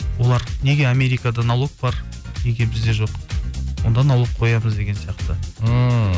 олар неге америкада налог бар неге бізде жоқ онда налог қоямыз деген сияқты ммм